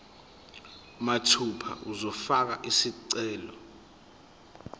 mathupha uzofaka isicelo